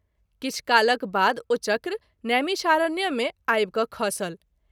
किछु कालक बाद ओ चक्र नैमिषारण्य मे आबि क’ खसल।